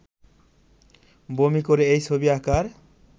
বমি করে এই ছবি আাঁকার